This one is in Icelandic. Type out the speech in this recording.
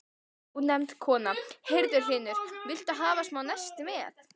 Ónefnd kona: Heyrðu Hlynur, viltu hafa smá nesti með?